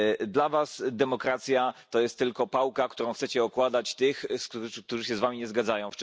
Dla Was demokracja jest tylko pałką, którą chcecie okładać tych, którzy się z Wami nie zgadzają.